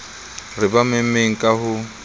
re ba memmeng ka ho